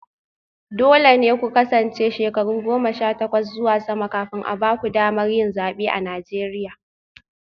Dole ne ku kasance shekaru goma sha takwas zuwa sama kafin a ba ku damar yin zabe a Najeriya